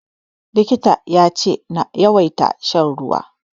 Likitan ya ce na yawaita shan ruwa.